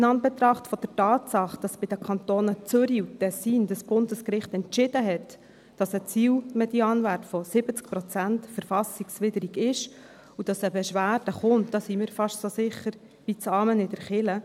In Anbetracht der Tatsache, dass bei den Kantonen Zürich und Tessin das Bundesgericht entschieden hat, dass ein Zielmedianwert von 70 Prozent verfassungswidrig ist, sind wir fast so sicher wie das Amen in der Kirche, dass eine Beschwerde kommt.